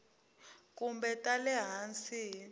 kumbe ta le hansi hi